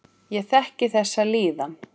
Ég þekki þessa líðan.